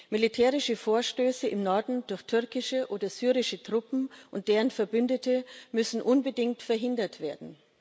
Militärische Vorstöße im Norden durch türkische oder syrische Truppen und deren Verbündete müssen unbedingt verhindert werden.